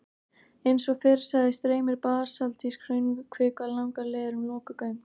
Eins og fyrr sagði streymir basaltísk hraunkvika langar leiðir um lokuð göng.